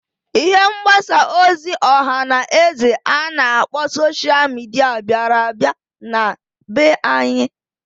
Ihe mgbasa ozi ọha na eze a na-akpọ sosha mịdịa biara abia na be anyị.